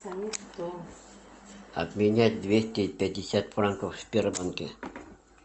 обменять двести пятьдесят франков в сбербанке